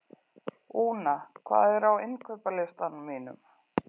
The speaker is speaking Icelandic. Úna, hvað er á innkaupalistanum mínum?